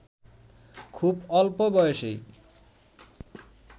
খুব অল্প বয়সেই